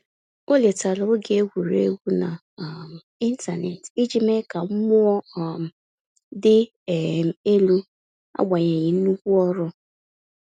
O letere oge egwuregwu na um intaneti iji mee ka mmụọ um dị um elu agbanyeghi nnukwu ọrụ